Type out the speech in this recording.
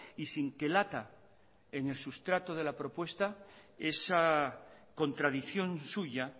y sin que lata en el substrato de la propuesta esa contradicción suya